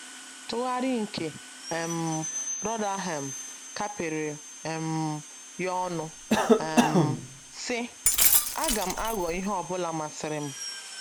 Tugharị nke um Rotherham kapịrị um ya ọnụ um, sị: “ Aga m Aghọ ihe ọ bụla masịrị m. ”